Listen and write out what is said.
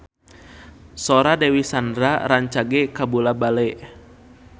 Sora Dewi Sandra rancage kabula-bale